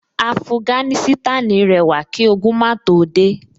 Afuganísítànì rẹwà kí ogun máa tó dé